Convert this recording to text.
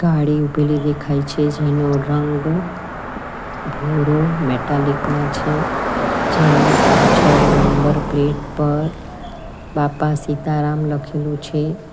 ગાડી ઊભેલી દેખાય છે જેનો રંગ ભૂરો મેટાલિક માં છે જેની પાછળ નંબર પ્લેટ પર બાપા સીતારામ લખેલું છે.